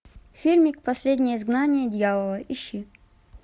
фильмик последнее изгнание дьявола ищи